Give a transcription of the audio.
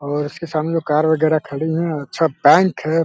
और इसके सामने कार वगेरा खड़ी हैं और अच्छा बैंक है।